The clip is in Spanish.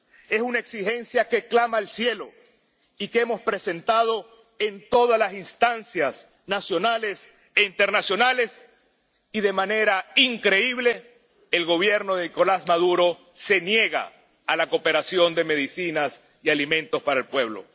Es una exigencia que clama al cielo y que hemos presentando en todas las instancias nacionales e internacionales. Y, de manera increíble, el Gobierno de Nicolás Maduro se niega a la cooperación de medicinas y alimentos para el pueblo.